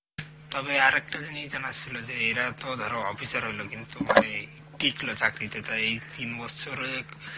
তবে আরেকটা জিনিস জানা ছিল যে এরা তো ধরো officer হইল কিন্তু মানে এই টিকলো চাকরিতে, তা এই তিন বছরে